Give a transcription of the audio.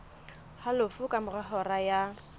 halofo ka mora hora ya